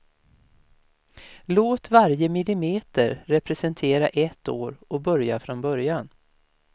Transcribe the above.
Låt varje millimeter representera ett år och börja från början.